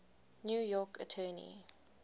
new york attorney